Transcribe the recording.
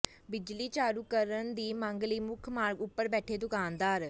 ਬਿਜਲੀ ਚਾਲੂ ਕਰਨ ਦੀ ਮੰਗ ਲਈ ਮੁੱਖ ਮਾਰਗ ਉੱਪਰ ਬੈਠੇ ਦੁਕਾਨਦਾਰ